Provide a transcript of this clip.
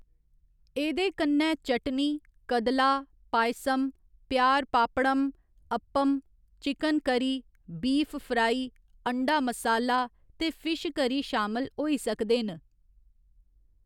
एह्दे कन्नै चटनी, कदला, पायसम, पयार pappadam, appam, chicken curry, beef fry, अंडा मसाला ते फिश करी शामल होई सकदे न।